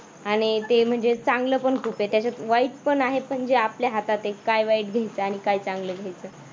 आणि ते म्हणजे चांगलं पण खूप आहे त्याच्यात वाईट पण आहे जे आपल्या हातात आहे काय वाईट घ्यायचं आणि काय चांगलं घ्यायचं.